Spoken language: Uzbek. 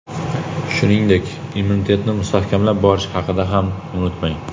Shuningdek, immunitetni mustahkamlab borish haqida ham unutmang.